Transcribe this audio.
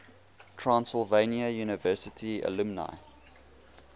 transylvania university alumni